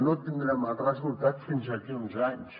no tindrem els resultats fins d’aquí a uns anys